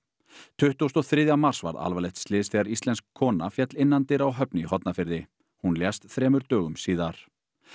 tuttugasta og þriðja mars varð alvarlegt slys þegar íslensk kona féll innandyra á Höfn í Hornafirði hún lést þremur dögum síðar